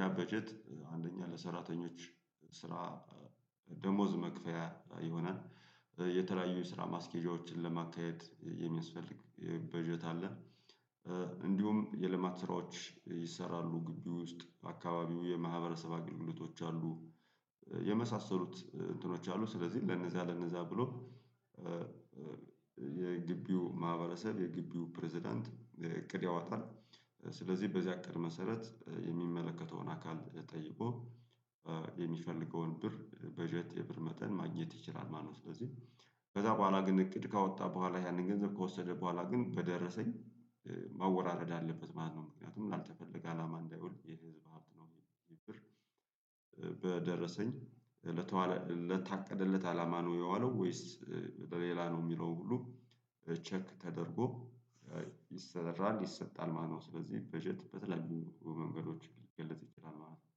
ያ በጀት አንደኛ ለሰራተኞች ስራ ደሞዝ መክፈያ ይሆናል የተለያዩ የስራ ማስኬጃዎችን ለማካሄድ የሚያስፈልግ በጀት አለ። እንዲሁም የልማት ስራዎች ይሰራሉ ግቢ ውስጥ በአካባቢው የማህበረሰብ አገልግሎቶች አሉ የመሳሰሉት እንትኖች አሉ። ስለዚህ ለነዛ ለነዛ ብሎ የግቢው ማህበረሰብ የግቢው ፕሬዝዳንት እቅድ ያወጣል። ስለዚህ በዚያ እቅድ መሰረት የሚመለከተውን አካል ጠይቆ የሚፈልገውን ብር በጀት የብር መጠን ማግኘት ይችላል ማለት ነው። ስለዚህ ከዛ በኋላ ግን እቅድ ካወጣ በኋላ ያንን ገንዘብ ከወሰደ በኋላ ግን በደረሰኝ ማወራረድ አለበት ማለት ነው። ምክንያቱም ላልተፈለገ አላማ እንዳይወል የህዝብ ሀብት ነው ይህ ብር በደረሰኝ ለተዋለ ለታቀደለት አላማ ነው የዋለው ወይስ ለሌላ ነው የሚለው ሁሉ ቼክ ተደርጎ ይሰራል ይሰጣል ማለት ነው ስለዚህ በጀት በተለያዩ መንገዶች ሊገለጽ ይችላል ማለት ነው።